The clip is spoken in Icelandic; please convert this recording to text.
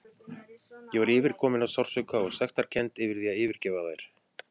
Ég var yfirkomin af sársauka og sektarkennd yfir því að yfirgefa þær.